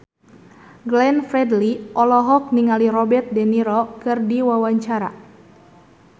Glenn Fredly olohok ningali Robert de Niro keur diwawancara